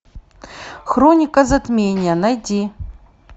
хроника затмения найди